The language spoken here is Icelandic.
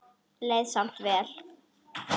Vá, ekki batnar það!